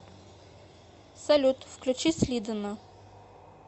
салют включи слидана